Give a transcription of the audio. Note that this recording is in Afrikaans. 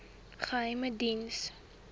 geheimediens